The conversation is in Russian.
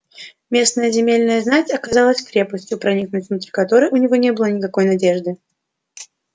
местная земельная знать оказалась крепостью проникнуть внутрь которой у него не было никакой надежды